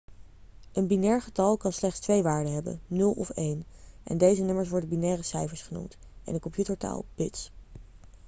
een binair getal kan slechts twee waarden hebben 0 of 1 en deze nummers worden binaire cijfers genoemd en in computertaal 'bits'